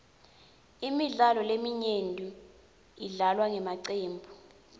imidlalo leminyenti idlalwa ngemacembu